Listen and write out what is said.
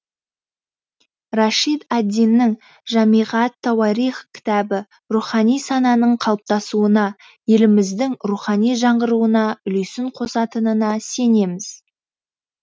рашид ад диннің жамиғат тауарих кітабы рухани сананың қалыптасуына еліміздің рухани жаңғыруына үлесін қосатынына сенеміз